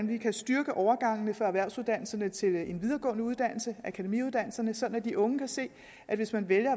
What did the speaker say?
vi kan styrke overgangene fra erhvervsuddannelserne til en videregående uddannelse akademiuddannelserne sådan at de unge kan se at hvis man vælger